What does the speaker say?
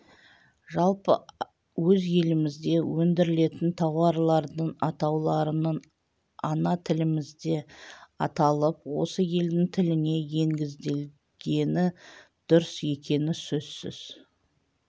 жалпы өз елімізде өндірілетін тауарлардың атауларының ана тілімізде аталып осы елдің тіліне негізделгені дұрыс екені сөзсіз